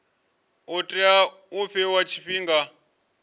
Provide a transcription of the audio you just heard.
u tea u fhiwa tshifhinga